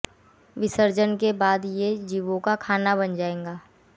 विसर्जन के बाद ये जिवों का खाना बन जाएगा